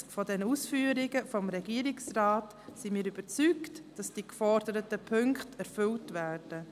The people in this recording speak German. Angesichts dieser Ausführungen des Regierungsrates sind wir überzeugt, dass die geforderten Punkte erfüllt werden.